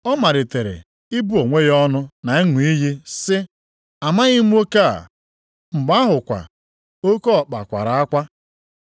Ọ malitere ịbụ onwe ya ọnụ, na ịṅụ iyi sị, “Amaghị m nwoke a.” Mgbe ahụkwa oke ọkpa kwara akwa.